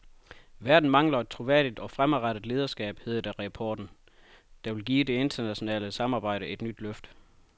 Verden mangler et troværdigt og fremadrettet lederskab, hedder det i rapporten, der vil give det internationale samarbejde et nyt løft.